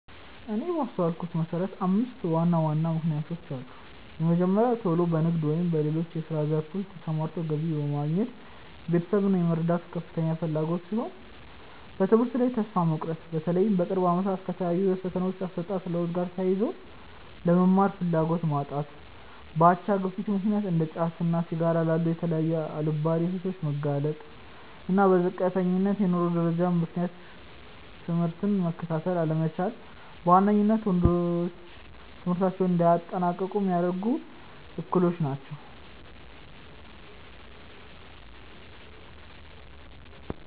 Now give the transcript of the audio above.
እኔ ባስተዋልኩት መሰረት አምስት ዋና ዋና ምክንያቶች አሉ። የመጀመሪያው ቶሎ በንግድ ወይም በሌሎች የስራ ዘርፎች ተሰማርቶ ገቢ በማግኘት ቤተሰብን የመርዳት ከፍተኛ ፍላጎት ሲሆን፤ በትምህርት ላይ ተስፋ መቁረጥ(በተለይም በቅርብ አመታት ከታዩት የፈተናዎች አሰጣጥ ለውጥ ጋር ተያይዞ)፣ ለመማር ፍላጎት ማጣት፣ በአቻ ግፊት ምክንያት እንደ ጫትና ሲጋራ ላሉ የተለያዩ አልባሌ ሱሶች መጋለጥ፣ እና በዝቅተኛ የኑሮ ደረጃ ምክንያት ትምህርትን መከታተል አለመቻል በዋነኝነት ወንዶች ትምህርታቸውን እንዳያጠናቅቁ ሚያደርጉ እክሎች ናቸው።